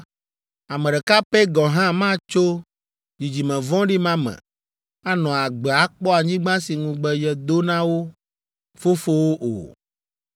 “Ame ɖeka pɛ gɔ̃ hã matso dzidzime vɔ̃ɖi ma me, anɔ agbe akpɔ anyigba si ŋugbe yedo na wo fofowo o,